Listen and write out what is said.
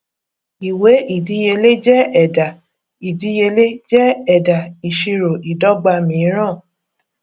ìwé ìdíyelé jẹ ẹdà ìdíyelé jẹ ẹdà ìṣirò ìdọgba mìíràn